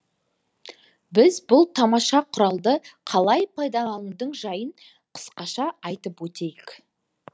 біз бұл тамаша құралды қалай пайдаланудың жайын қысқаша айтып өтейік